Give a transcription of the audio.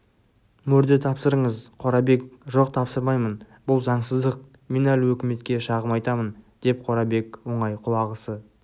мөрді тапсырыңыз қорабек жоқ тапсырмаймын бұл заңсыздық мен әлі өкіметке шағым айтамын деп қорабек оңай құлағысы